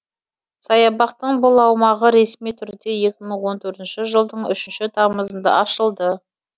саябақтың бұл аумағы ресми түрде екі мың он төртінші жылдың үшінші тамызында ашылды